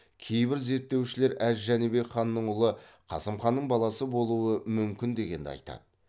кейбір зерттеушілер әз жәнібек ханның ұлы қасым ханның баласы болуы мүмкін дегенді айтады